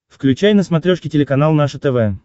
включай на смотрешке телеканал наше тв